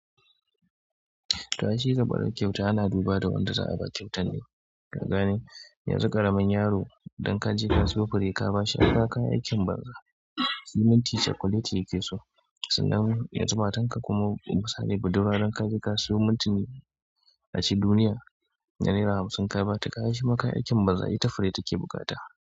To ai shi zambaran kyauta ana duba da wanda za a ba kyautar ne. Ka gane yanzu ƙaramin yaro dan ka je ka siyo fure ka ba shi kaga kayi aikin baza. Shi minti cakuleti yake so sannan yanzu matan ka kuma musali budurwa dan ka je ka siyo mintini aci duniya na naira hamsin ka ba ta kaga shi ma kayi aikin banza ita fure take buƙata.